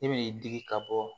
I bɛ digi ka bɔ